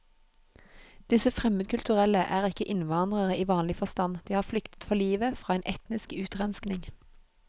Disse fremmedkulturelle er ikke innvandrere i vanlig forstand, de har flyktet for livet fra en etnisk utrenskning.